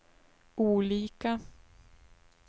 olika